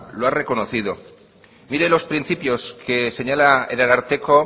lo ha reconocido mire los principios que señala el ararteko